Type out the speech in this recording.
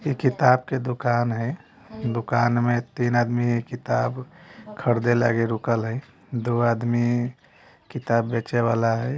इ किताब के दुकान हय दुकान में तीन आदमी किताब खरदे लागे रुकल हय दो आदमी किताब बेचे वाला हय।